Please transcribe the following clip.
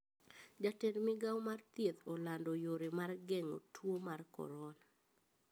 Jatend migao mar thieth olando yore mar geng`o tuo mar korona